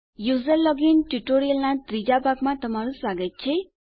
user login ટ્યુટોરીયલનાં ત્રીજા ભાગમાં તમારું સ્વાગત છે